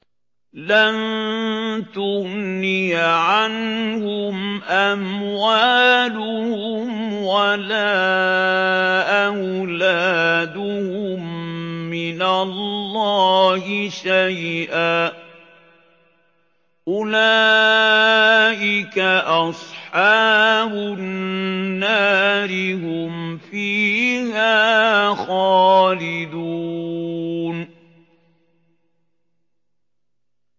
لَّن تُغْنِيَ عَنْهُمْ أَمْوَالُهُمْ وَلَا أَوْلَادُهُم مِّنَ اللَّهِ شَيْئًا ۚ أُولَٰئِكَ أَصْحَابُ النَّارِ ۖ هُمْ فِيهَا خَالِدُونَ